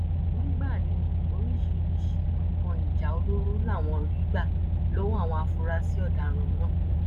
mgbà ní oríṣiríṣiì nǹkan ìjà olóró làwọn rí gbà lọwọ àwọn afurasí ọdaràn náà